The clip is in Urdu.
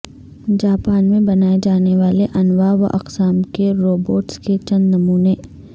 جاپان میں بنائے جانے والے انواع و اقسام کے روبوٹس کے چند نمونے